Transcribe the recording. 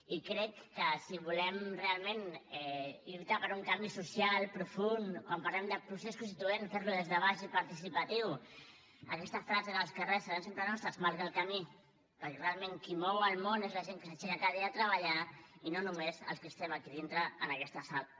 i crec que si volem realment lluitar per un canvi social profund quan parlem de procés constituent fer lo des de baix i participatiu aquesta frase d’ els carrers seran sempre nostres marca el camí perquè realment qui mou el món és la gent que s’aixeca cada dia a treballar i no només els que estem aquí dintre en aquesta sala